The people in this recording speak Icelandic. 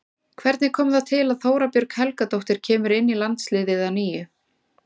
Hvernig kom það til að Þóra Björg Helgadóttir kemur inn í landsliðið að nýju?